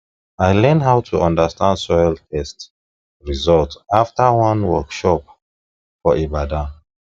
i learn how to understand soil test result after one workshop for ibadan